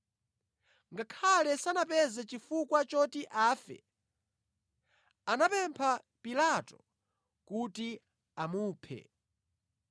Ngakhale sanapeze chifukwa choti afe, anapempha Pilato kuti amuphe.